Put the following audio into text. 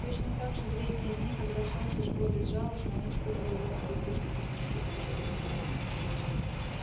точно так же в летние дни когда солнце жгло безжалостно он испытывал лёгкие приступы тоски по северу